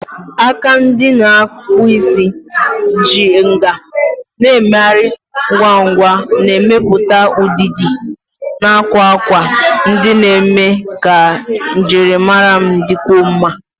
Aka ndị na-akpụ isi ji nkà na-emegharị ngwa ngwa, na-emepụta ụdịdị na akwa akwa ndị na-eme ka njirimara m dịkwuo mma.